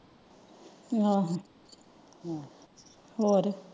ਆਹੋ ਹੋਰ?